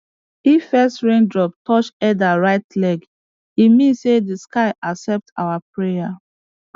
if first rain drop touch elder right leg e mean say the sky accept our prayer